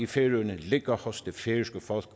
færøerne ligger hos det færøske folk